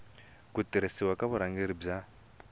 ku tirhisiwa ka vurhangeri bya